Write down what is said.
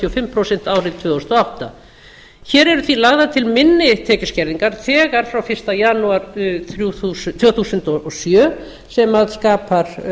fimm prósent árið tvö þúsund og átta hér eru því lagðar til minni tekjuskerðingar þegar frá fyrsta janúar tvö þúsund og sjö sem skapar